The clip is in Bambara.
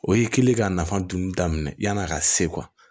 O y'i kili ka nafa dun daminɛ yann'a ka se